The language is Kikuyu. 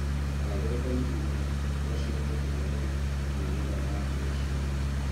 Ta ũrĩa kompiuta, no cihote kũrehe mĩnoga ya kĩmeciria.